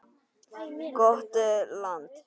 Gott land.